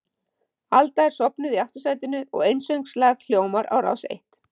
Alda er sofnuð í aftursætinu og einsöngslag hljómar á Rás eitt.